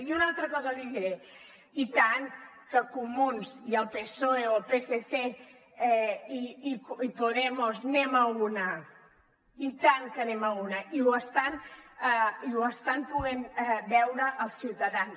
i una altra cosa li diré i tant que comuns i el psoe o el psc i podemos anem a l’una i tant que anem a l’una i ho estan podent veure els ciutadans